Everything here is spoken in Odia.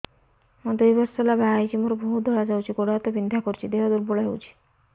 ମୁ ଦୁଇ ବର୍ଷ ହେଲା ବାହା ହେଇଛି ମୋର ବହୁତ ଧଳା ଯାଉଛି ଗୋଡ଼ ହାତ ବିନ୍ଧା କରୁଛି ଦେହ ଦୁର୍ବଳ ହଉଛି